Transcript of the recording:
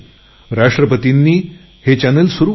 राष्ट्रपतींनी हे चॅनलचे उद्घाटन केले